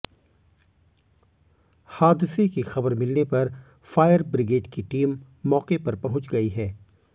हादसे की खबर मिलने पर फायर ब्रिगेड की टीम मौके पर पहुंच गई है